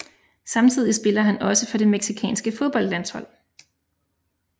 Samtidig spiller han også for det mexicanske fodboldlandshold